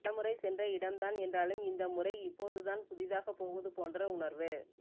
பல முறை சென்ற இடம்தான் என்றாலும் இந்த முறை இப்போதுதான் புதிததாக போவது போன்ற உணர்வு